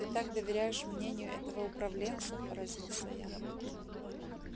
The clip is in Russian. ты так доверяешь мнению этого управленца поразился я